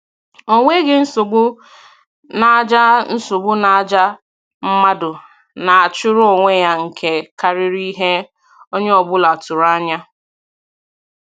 Ọ nweghị nsogbu na àjà nsogbu na àjà mmadụ na-achụrụ onwe ya nke karịrị ihe onye ọbụla tụrụ anya